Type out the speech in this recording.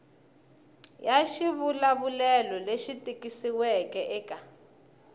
ya xivulavulelo lexi tikisiweke eka